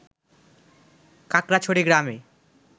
কাকড়াছড়ি গ্রামে